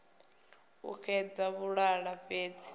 u a xedza vhuṱala fhedzi